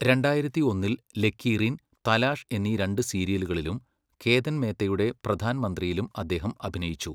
രണ്ടായിരത്തി ഒന്നിൽ, ലക്കീറീൻ, തലാഷ് എന്നീ രണ്ട് സീരിയലുകളിലും, കേതൻ മേത്തയുടെ പ്രധാൻ മന്ത്രിയിലും അദ്ദേഹം അഭിനയിച്ചു.